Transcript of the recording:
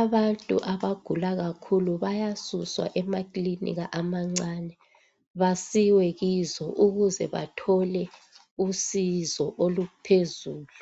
Abantu abagula kakhulu bayasuswa emakilinika amancane basiwe kizo ukuze bathole usizo oluphezulu.